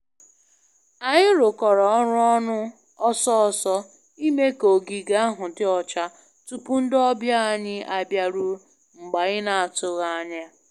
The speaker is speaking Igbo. Anyị rụkọrọ ọrụ ọnụ ọsọ ọsọ ime ka ogige ahụ dị ọcha tupu ndị ọbịa anyị abiaruo mgbe anyị na atụghị anya